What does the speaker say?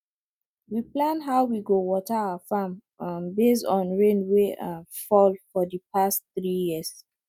we plan how we go water our farm um based on rain wey um fall for di past three years